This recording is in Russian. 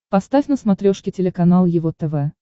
поставь на смотрешке телеканал его тв